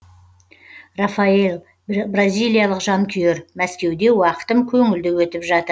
рафаэль бразилиялық жанкүйер мәскеуде уақытым көңілді өтіп жатыр